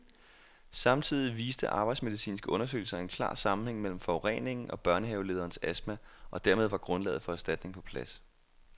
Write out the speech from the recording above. Samtidig viste arbejdsmedicinske undersøgelser en klar sammenhæng mellem forureningen og børnehavelederens astma, og dermed var grundlaget for erstatning på plads.